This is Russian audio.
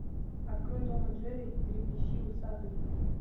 открой том и джерри трепещи усатый